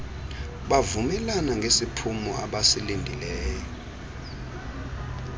bavumelana ngesiphumo abasilindeleyo